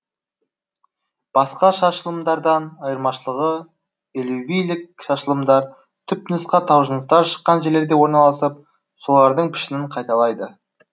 басқа шашылымдардан айырмашылығы элювийлік шашылымдар түпнұсқа таужыныстар шыққан жерлерде орналасып солардың пішінін қайталайды